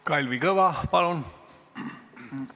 Kalvi Kõva, palun!